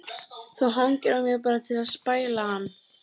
Þú hangir á mér bara til að spæla hann.